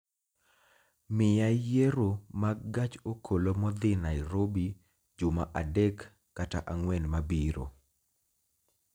Miya yiero mag gach okolo modhi Nairobi juma adek kata ang'wen mabiro